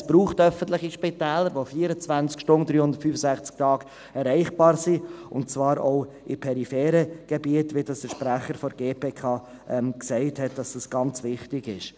Es braucht öffentliche Spitäler, die an 24 Stunden und 365 Tagen erreichbar sind, und zwar auch in peripheren Gebieten, wie dies der Sprecher der GPK gesagt hat, dass dies ganz wichtig ist.